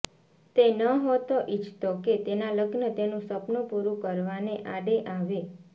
તે નહતો ઈચ્છતો કે તેના લગ્ન તેનું સપનું પૂરુ કરવાને આડે આવે